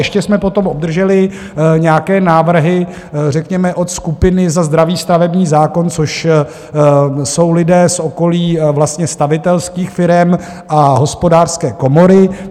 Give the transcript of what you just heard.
Ještě jsme potom obdrželi nějaké návrhy, řekněme od skupiny za zdravý stavební zákon, což jsou lidé z okolí stavitelských firem a Hospodářské komory.